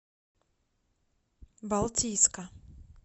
балтийска